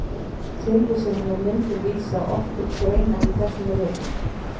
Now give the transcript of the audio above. Tilvísanir með myndum vísa oft til greina í þessum ritum.